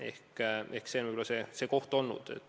Ehk see on võib-olla see mõttekoht olnud.